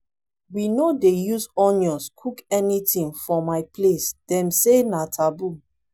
we no dey use onions cook anything for my place dem say na taboo